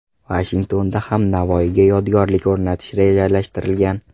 Vashingtonda ham Navoiyga yodgorlik o‘rnatish rejalashtirilgan.